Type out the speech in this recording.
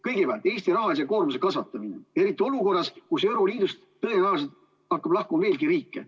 Kõigepealt, Eesti rahalise koormuse kasvatamine, eriti olukorras, kus euroliidust tõenäoliselt hakkab lahkuma veelgi riike.